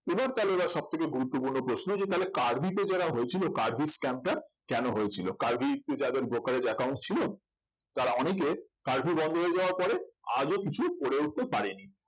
এবার তাহলে সব থেকে গুরুত্বপূর্ণ প্রশ্ন যে তাহলে কার্ভিতে যারা হয়েছিল কার্ভি scam টা কেন হয়েছিল কার্ভিতে যাদের brokerage account ছিল তারা অনেকে কার্ভি বন্ধ হয়ে যাওয়ার পরে আজও কিছু করে উঠতে পারেনি